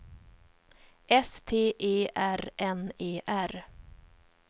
S T E R N E R